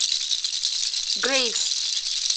грейвс